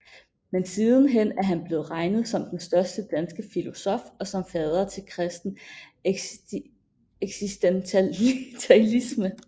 Men sidenhen er han blevet regnet som den største danske filosof og som fader til kristen eksistentialisme